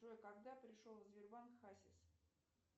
джой когда пришел в сбербанк хасис